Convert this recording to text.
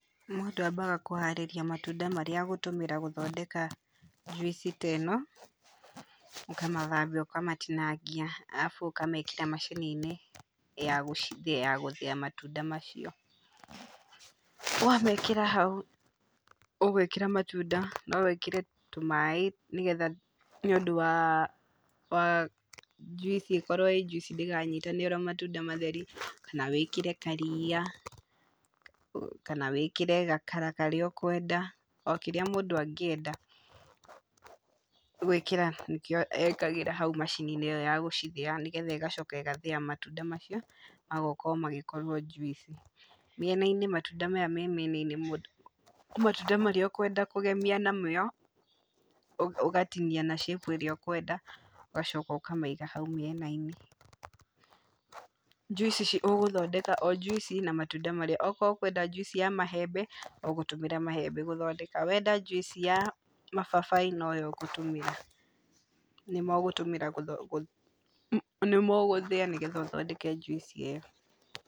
Mũndũ ambaga kũharĩria matunda marĩa agũtũmĩra gũthondeka njuici te no, ũkamathambia, ũkamatinangia arabu ũkamekĩra macini-inĩ ya gũcithĩa ya gũthĩa matunda macio, wamekĩra hau, ũgwĩkĩra matunda, no wĩkĩre tũmaĩ nĩgetha nĩũndũ wa wa njuici ikorwo ĩ njuici ndĩkanyitane ĩrĩ matunda matheri kana wĩkĩre kariia, kana wĩkĩre gakara karĩa ũkwenda, o kĩrĩa mũndũ angĩenda gũikĩra nĩkĩo ekagĩra hau macini-inĩ ĩyo ya gũcithĩa, nĩgetha ĩgacoka ĩgathĩa matunda macio magoka o magĩkorwo njuici, mĩena-inĩ matunda maya me mĩena-inĩ, nĩ matunda marĩa ũkwenda kũgemia namo, ũgatinia na shape ĩrĩa ũkwenda, ũgacoka ũkamaiga hau mĩena-inĩ, njuici ici ũgũthondeka o njuici na matunda marĩa, okorwo ũkwenda njuici ya mahembe, ũgũtũmĩra mahembe gũthondeka, wenda njuici ya mababaĩ, noyo ũgũtũmĩra, nĩmo ũgũtũmĩra gũtho nĩmo ũgũthĩa nĩguo ũthondeke njuici ĩyo.